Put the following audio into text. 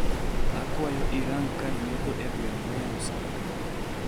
Akwayo irang kar metho e gweng' moyaw sani